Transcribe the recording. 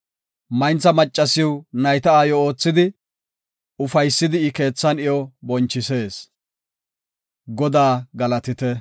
Mayntha maccasiw nayta aayo oothidi, ufaysidi I keethan iyo bonchisees. Godaa galatite!